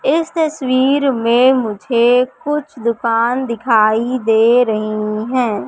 इस तस्वीर मे मुझे कुछ दुकान दिखाई दे रही है।